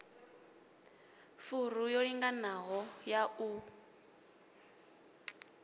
furu yo linganaho ya u